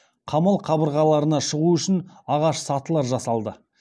қамал қабырғаларына шығу үшін ағаш сатылар жасалды